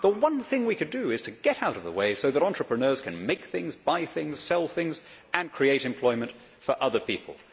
The one thing we could do is to get out of the way so that entrepreneurs can make things, buy things, sell things and create employment for other people.